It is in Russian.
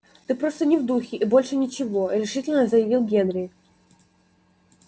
ты просто не в духе и больше ничего решительно заявил генри